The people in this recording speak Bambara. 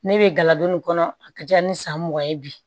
Ne bɛ gala don nin kɔnɔ a ka ca ni san mugan ye bi